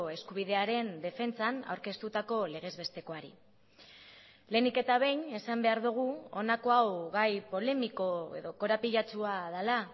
eskubidearen defentsan aurkeztutako legezbestekoari lehenik eta behin esan behar dugu honako hau gai polemiko edo korapilatsua dela